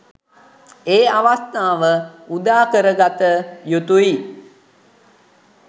ඒ අවස්ථාව උදා කරගත යුතුයි.